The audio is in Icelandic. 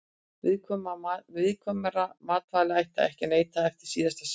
Viðkvæmra matvæla ætti ekki að neyta eftir síðasta söludag.